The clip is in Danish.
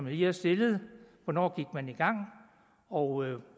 lige har stillet hvornår gik man i gang og